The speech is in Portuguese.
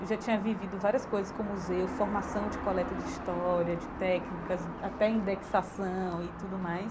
Eu já tinha vivido várias coisas com o Museu, formação de coleta de história, de técnicas, até indexação e tudo mais.